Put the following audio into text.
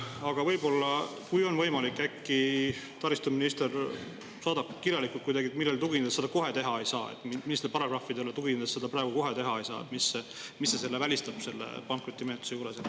Aga võib-olla, kui on võimalik, taristuminister saadab kirjalikult, millele tuginedes seda kohe teha ei saa, millistele paragrahvidele tuginedes seda praegu teha ei saa ja mis selle välistab selle pankrotimenetluse juures.